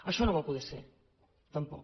això no va poder ser tampoc